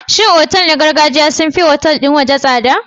Shin otal na gargajiya sun fi otal ɗin waje tsada?